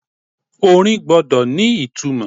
Orin gbọ́dọ̀ ni ìtumò.